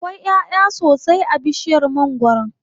Akwai ƴaʼya sosai a bishiyar mangwaron.